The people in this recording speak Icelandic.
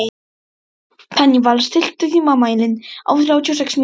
Daníval, stilltu tímamælinn á þrjátíu og sex mínútur.